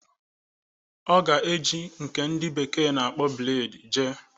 Ọ ga-eji nke ndị bekee na-akpọ bleed jee.